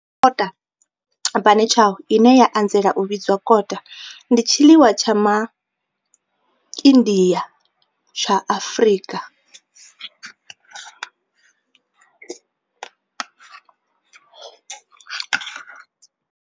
Kota, bunny chow, ine ya anzela u vhidzwa kota, ndi tshiḽiwa tsha MA India tsha Afrika.